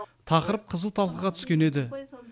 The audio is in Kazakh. тақырып қызу талқыға түскен еді